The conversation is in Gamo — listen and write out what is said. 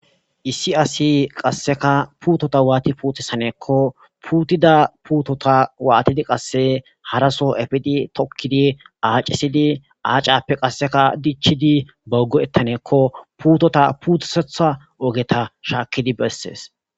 Essi Asi Kaseka Putota Wati Putisaneko Putida Putota watidi qase hara soo efidi tokidi Accisidi Accape qasseka Dichidi Bass Go'etanako Putota Putisetha Ogeta Shakidi Beses